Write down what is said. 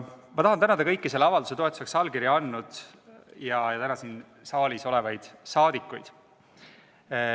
Ma tahan tänada kõiki selle avalduse toetuseks allkirja andnud ja täna siin saalis olevaid rahvasaadikuid.